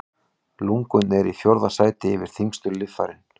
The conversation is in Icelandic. Lungun eru í fjórða sæti yfir þyngstu líffærin.